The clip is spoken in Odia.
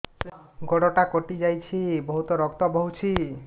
ଗୋଡ଼ଟା କଟି ଯାଇଛି ବହୁତ ରକ୍ତ ବହୁଛି